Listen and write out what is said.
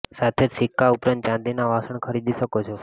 સાથે જ સિક્કા ઉપરાંત ચાંદીના વાસણ ખરીદી શકો છો